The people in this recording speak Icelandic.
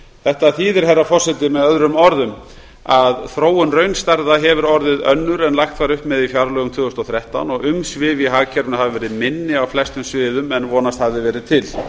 þetta þýðir herra forseti með öðrum orðum að þróun raunstærða hefur orðið önnur en lagt var upp með í fjárlögum tvö þúsund og þrettán og umsvif í hagkerfinu hafa verið minni á flestum sviðum en vonast hafði verið til